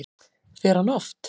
Fer hann oft?